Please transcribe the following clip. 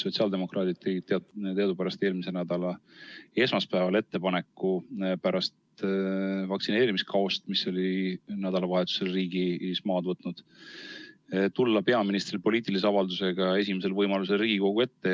Sotsiaaldemokraadid tegid teadupärast eelmise nädala esmaspäeval pärast vaktsineerimiskaost, mis oli nädalavahetusel riigis maad võtnud, ettepaneku, et peaminister tuleks esimesel võimalusel poliitilise avaldusega Riigikogu ette.